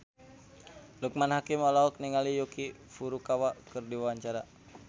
Loekman Hakim olohok ningali Yuki Furukawa keur diwawancara